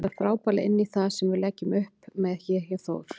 Hann passar frábærlega inní það sem við leggjum upp með hér hjá Þór.